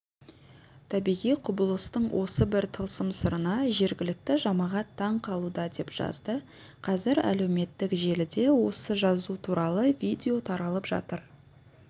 табиғи құбылыстың осы бір тылсым сырына жергілікті жамағат таң қалуда деп жазды қазір әлеуметтік желіде осы жазу туралы видео таралып жатыр